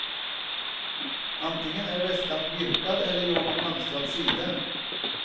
Antingen är väskan virkad eller gjord i mönstrat siden.